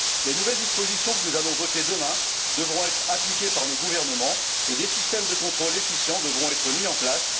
Les nouvelles dispositions que nous allons voter demain devront être appliquées par nos gouvernements et des systèmes de contrôle efficients devront être mis en place.